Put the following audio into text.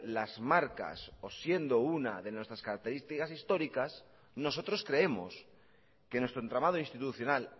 las marcas o siendo una de nuestras características históricas nosotros creemos que nuestro entramado institucional